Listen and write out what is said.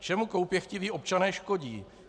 Čemu koupěchtiví občané škodí?